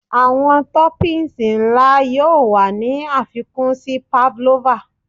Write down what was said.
Awọn toppings nla yoo wa ni afikun si pavlova